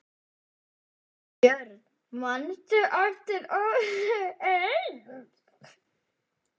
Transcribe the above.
Björn: Manstu eftir öðru eins?